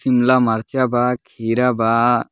शिमला मार्चा बा खीरा बा।